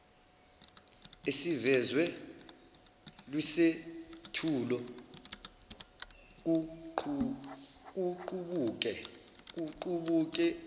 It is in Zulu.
esivezwe kwisethulo kuqubuke